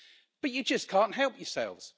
But you just can't help yourselves.